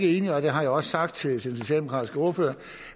enig i og det har jeg også sagt til den socialdemokratiske ordfører